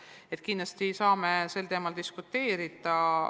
Nii et kindlasti saame sel teemal diskuteerida.